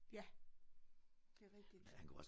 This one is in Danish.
Ja det rigtigt